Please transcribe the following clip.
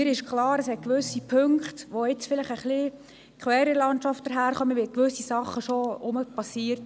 Mir ist klar, dass es gewisse Punkte gibt, die jetzt vielleicht ein wenig quer in der Landschaft stehen, weil inzwischen wieder gewisse Dinge geschehen sind.